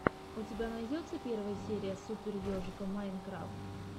у тебя найдется первая серия супер ежика майнкрафт